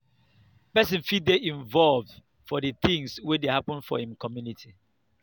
person fit dey involved for di things wey dey happen for im community